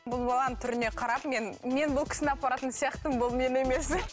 бұл баланың түріне қарап мен мен бұл кісіні апаратын сияқтымын бұл мені емес